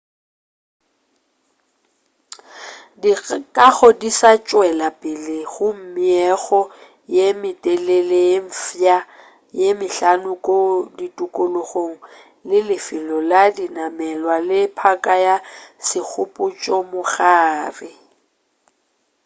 dikago di sa tšwela pele go meago ye metelele ye mfsa ye mehlano ko tikologong le lefelo la dinamelwa le phaka ya segopotšo mogare